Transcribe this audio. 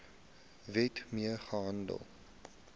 wet mee gehandel